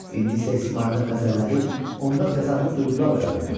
İndi isə İsmayılın qəzəlləri onda təzadlı duyğular oyadırdı.